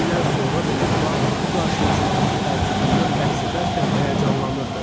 İllər sonra belə Bar bu qarşılaşmadakı təəccübündən bəhs edərkən həyəcanlanırdı.